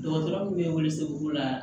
Dɔgɔtɔrɔ min bɛ welesebugu la